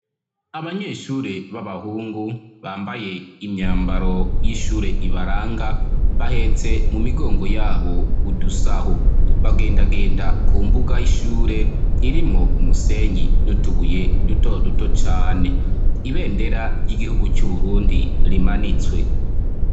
Abanyeshure b'abahungu bambaye imyambaro y'ishure ibaranga bahetse mu migongo yabo udusaho, bagendagenda ku mbuga y'ishure irimwo umusenyi n'utubuye duto duto cane, ibendera ry'igihugu c'u Burundi rimanitswe.